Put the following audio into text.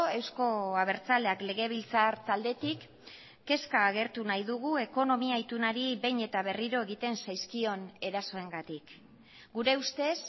euzko abertzaleak legebiltzar taldetik kezka agertu nahi dugu ekonomia itunari behin eta berriro egiten zaizkion erasoengatik gure ustez